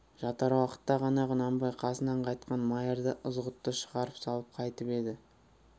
жатар уақытта ғана құнанбай қасынан қайтқан майырды ызғұтты шығарып салып қайтып еді